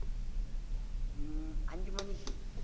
உம் அஞ்சு மணிக்கு